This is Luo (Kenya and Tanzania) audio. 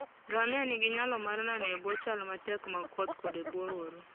Ngamia nigi nyalo mar nano e bwo chal matek mag koth koda e bwo oro.